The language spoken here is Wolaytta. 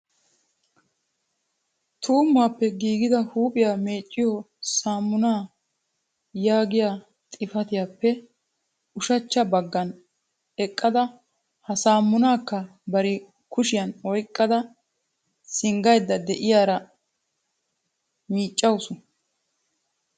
" tummuwappe giigida huuphiyaa meecciyo saamuna " yaagiya xifaatiyappe ushachcha baggaan eqqada ha sammunakka bari kushiyaan oyqqada singgaydda de'iyaara miiccaawusu.